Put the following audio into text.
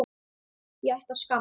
Ég ætti að skamm